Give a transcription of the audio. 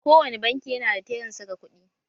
Kowani banki yanada tellan saka kuɗi